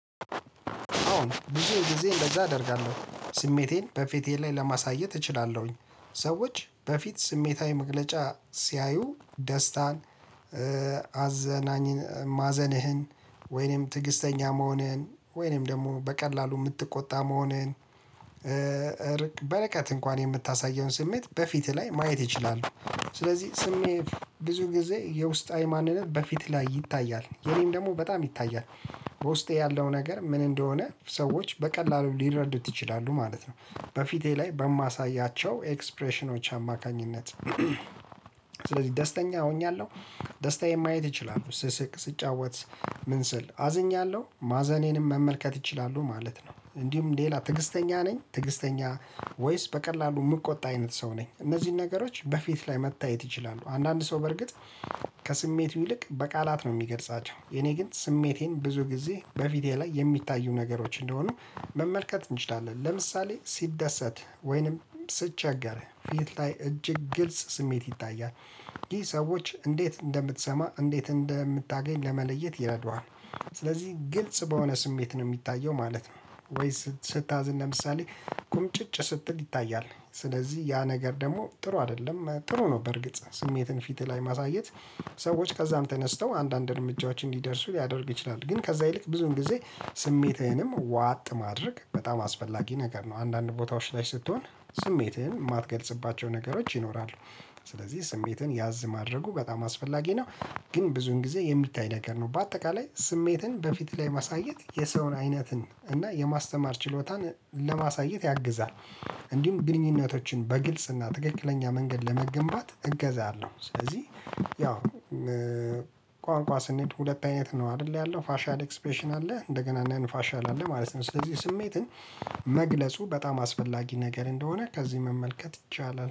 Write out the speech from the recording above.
አዎን ብዙን ጊዜ እንደዛ አደርጋለሁ። ስሜቴን በፊቴ ላይ ለማሳየት እችላለሁኝ፣ ሰዎች በፊት ስሜታዊ መግለጫ ሲያዩ ደስታን፣ አዘናኝ ማዘንህን ወይኔም ትዕግስተኛ መሆንህን ወይኔም ደግሞ በቀላሉ የምትቆጣ መሆንህን በርቀት እንኳን የምታሳየውን ስሜት በፊትህ ላይ ማየት ይችላሉ። ስለዚህ ስሜት ብዙ ጊዜ የውስጣዊ ማንነት በፊት ላይ ይታያል የኔም ደግሞ በጣም ይታያል በውስጤ ያለው ነገር ምን እንደሆነ ሰዎች በቀላሉ ሊረዱት ይችላሉ ማለት ነው በፊቴ ላይ በማሳያቸው ኤክስፕሬሽኖች አማካኝነት ስለዚህ ደስተኛ ሆኛለሁ ደስታዬን ማየት ይችላሉ ስስቅ፣ ስጫወት ምን ስል አዝኛለሁ ማዘኔንም መመልከት ይችላሉ ማለት ነው እንዲሁም ሌላ ትዕግስተኛ ነኝ ትዕግስተኛ ወይስ በቀላሉ የምቆጣ አይነት ሰው ነኝ እነዚህን ነገሮች በፊት ላይ መታየት ይችላሉ። አንዳንድ ሰው በርግጥ ከስሜቱ ይልቅ በቃላት ነው የሚገልጻቸው የኔ ግን ስሜቴን ብዙ ጊዜ በፊቴ ላይ የሚታዩ ነገሮች እንደሆኑ መመልከት እንችላለን ለምሳሌ ስደሰት ወይንም ሲቸገር ፊት ላይ እጅግ ግልጽ ስሜት ይታያል፤ ይህ ሰዎች እንዴት እንደምትሰማ እንዴት እንደምታገኝ ለመለየት ይረዱሃል። ስለዚህ ግልጽ በሆነ ስሜት ነው የሚታየው ማለት ነው ወይ ስታዝን ለምሳሌ ቁምጭጭ ስትል ይታያል ስለዚህ ያ ነገር ደግሞ ጥሩ አይደለም ጥሩ ነው በእርግጥ ስሜትን ፊትህ ላይ ማሳየት ሰዎች ከዛም ተነስተው አንዳንድ እርምጃዎችን እንዲደርሱ ሊያደርግ ይችላል ግን ከዛ ይልቅ ብዙን ጊዜ ስሜትህንም ዋጥ ማድረግ በጣም አስፈላጊ ነገር ነው አንዳንድ ቦታዎች ላይ ስትሆን ስሜትህን የማትገልጽባቸው ነገሮች ይኖራሉ ስለዚህ ስሜትን ያዝ ማድረጉ በጣም አስፈላጊ ነው ግን ብዙን ጊዜ የሚታይ ነገር ነው በአጠቃላይ ስሜትን በፊት ላይ ማሳየት የሰውን አይነትን እና የማስተማር ችሎታን ለማሳየት ያግዛል እንዲሁም ግንኙነቶችን በግልጽ እና ትክክለኛ መንገድ ለመገንባት እገዛ አለሁ ስለዚህ ያው ቋንቋ ስንሄድ ሁለት አይነት ነው አይደል ያለው ፋሻል ኤክስፔሽን አለ እንደገና ነንፋሻል አለ ማለት ነው ስለዚህ ስሜትን መግለጹ በጣም አስፈላጊ ነገር እንደሆነ ከዚህ መመልከት ይቻላል።